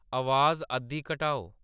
अवाज अद्धी घटाओ